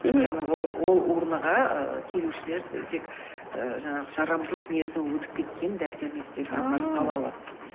мхм яғни ол урнаға ааа келушілер тек жаңағы жарамдылық мерзімі өтіп кеткен дәрі дәрмектерді апарып сала алады